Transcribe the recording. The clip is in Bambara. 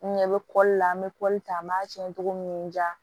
N ɲɛ bɛ an bɛ ta an b'a tiɲɛ togo min n diya